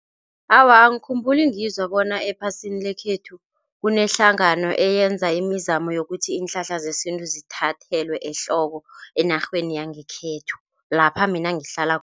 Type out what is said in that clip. Awa, angikhumbuli ngizwa bona ephasini lekhethu kunehlangano eyenza imizamo yokuthi iinhlahla zesintu zithathelwe ehloko enarheni yangekhethu lapha mina